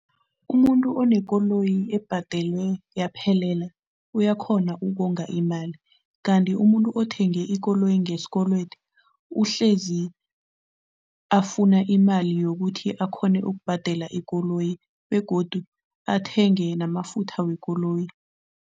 Umuntu onekoloyi ebhadelwe yaphelela, uyakhona ukonga imali kanti umuntu othenge ikoloyi ngesikolwede, uhlezi afuna imali yokuthi akghone ukubhadela ikoloyi begodu athenge namafutha wekoloyi.